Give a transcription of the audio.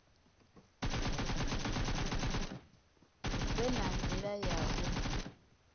vhe na nila ya u